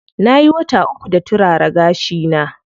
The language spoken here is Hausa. Nayi wata uku da turara gashi na.